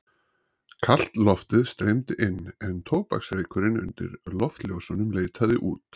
Kalt loftið streymdi inn en tóbaksreykurinn undir loftljósunum leitaði út.